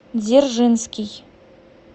дзержинский